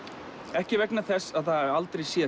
ekki vegna þess að það hafi aldrei séð